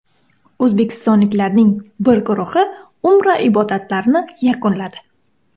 O‘zbekistonliklarning bir guruhi Umra ibodatlarini yakunladi.